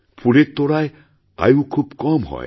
ফুলের তোড়ার আয়ু খুব কম হয়